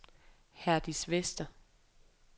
Herdis Vester